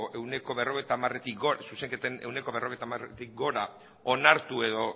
zuzenketen ehuneko berrogeita hamaretik gora onartu edo